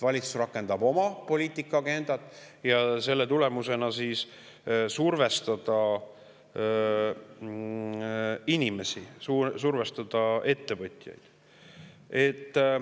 Valitsus rakendab oma poliitilist agendat ja selle tulemusena survestatakse inimesi, survestatakse ettevõtjaid.